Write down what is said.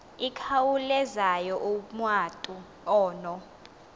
ikhawulezayo umatu ono